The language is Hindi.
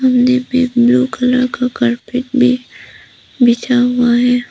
कोने पे ब्लू कलर का कारपेट भी बिछा हुआ है।